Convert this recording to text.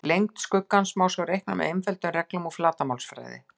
Lengd skuggans má svo reikna með einföldum reglum úr flatarmálsfræði.